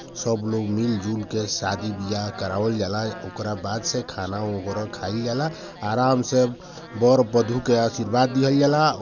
सब लोग मिल झुलके शादी वियाय करावल जाला ओकरा बाद से खाना वैगरह खाएल जाला आराम से बर बधु के आशीर्वाद दिहल जाला।